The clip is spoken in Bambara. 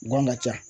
Gan ka ca